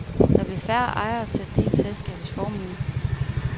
Der bliver færre ejere til at dele selskabets formue.